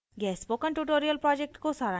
यह spoken tutorial project को सारांशित करता है